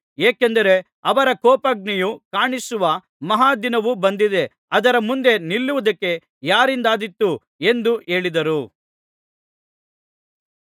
ಏಕೆಂದರೆ ಅವರ ಕೋಪಾಗ್ನಿಯು ಕಾಣಿಸುವ ಮಹಾ ದಿನವು ಬಂದಿದೆ ಅದರ ಮುಂದೆ ನಿಲ್ಲುವುದಕ್ಕೆ ಯಾರಿಂದಾದೀತು ಎಂದು ಹೇಳಿದರು